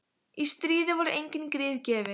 Í stríði voru engin grið gefin.